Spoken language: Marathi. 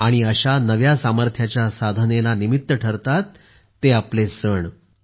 आणि अशा नव्या सामर्थ्याच्या साधनेला निमित्त ठरतात ते आपले सण